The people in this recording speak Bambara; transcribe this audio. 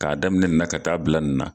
K'a daminɛ nin na ka taa bila nin na